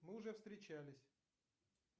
мы уже встречались